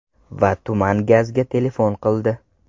Va tuman gazga telefon qildi.